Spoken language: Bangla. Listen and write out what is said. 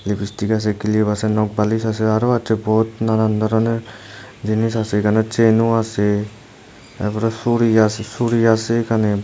লিপিস্টিক আছে ক্লিব আছে নখপালিশ আছে আরো আছে বহুদ নানান ধরনের জিনিস আছে এখানে চেনও আছে এরপরে সুড়ি আছে সুড়ি আছে এখানে --